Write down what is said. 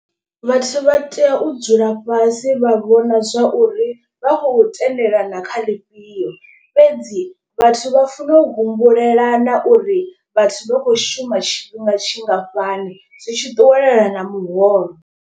Vhathu vha tea u dzula fhasi vha vhona zwa uri vha khou tendelana kha ḽifhio. Fhedzi vhathu vha funa u humbulela na uri vhathu vha khou shuma tshifhinga tshingafhani zwi tshi ṱuwelana na muholo.